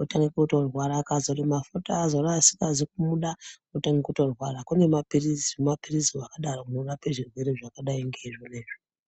otange kutorwara. Akazora mafuta aazora asingazi kumuda otange kutorwara. Kune maphirizi. humaphirizi hwakadaro hunorape zvirwere zvakadai ngeizvona izvo.